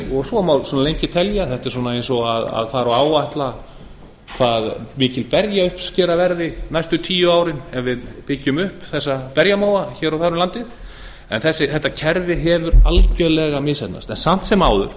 er svo má lengi telja þetta er svona eins og fara að áætla hvað mikil berjauppskera verði næstu tíu árin ef við byggjum upp þessa berjamóa hér og þar um landið en þetta kerfi hefur algerlega misheppnast samt sem áður